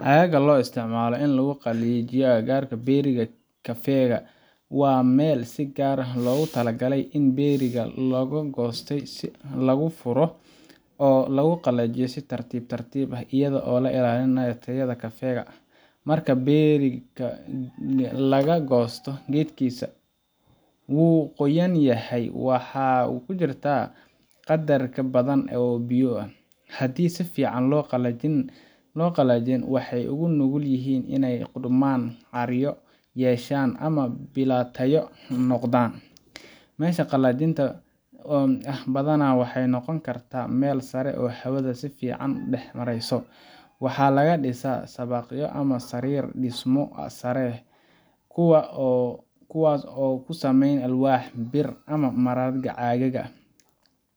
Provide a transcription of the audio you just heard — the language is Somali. Aagga loo isticmaalo in lagu qalajiyo agararka berry-ga kafeega waa meel si gaar ah loogu talagalay in berry-ga la goostay lagu furo oo lagu qalajiyo si tartiib tartiib ah, iyada oo la ilaalinayo tayada kafeega. Marka berry-ga laga goosto geedkiisa, wuu qoyan yahay, waxaana ku jira qadar badan oo biyo ah. Haddii aan si fiican loo qalajin, waxay u nugul yihiin inay qudhmaan, caaryo yeeshaan ama bilaa tayo noqdaan. Meeshan qalajinta ah badanaa waxay noqon kartaa meel sare oo hawada si fiican u dhex marayso. Waxaa laga dhisaa shabaqyo ama sariir dhismo sare leh , kuwaas oo ku sameysan alwaax, bir ama marada caagga ah